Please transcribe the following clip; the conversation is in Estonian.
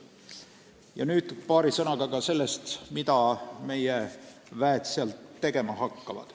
Ja nüüd paari sõnaga ka sellest, mida meie tegevväelased seal tegema hakkavad.